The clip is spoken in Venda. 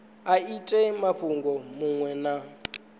a ite mushumo muṅwe na